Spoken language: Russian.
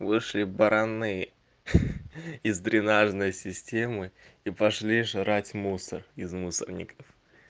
вышли бараны из дренажной системы и пошли жрать мусор из мусорников